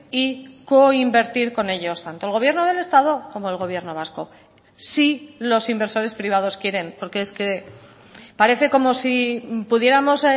y coinvertir con ellos tanto el gobierno del estado como el gobierno vasco si los inversores privados quieren porque es que parece como si pudiéramos